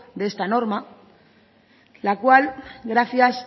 de esta norma la cual gracias